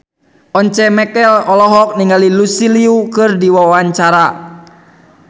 Once Mekel olohok ningali Lucy Liu keur diwawancara